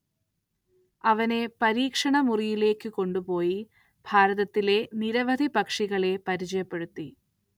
അവനെ പരീക്ഷണമുറികളിലേക്കു കൊണ്ടുപോയി ഭാരതത്തിലെ നിരവധി പക്ഷികളെ പരിചയപ്പെടുത്തി.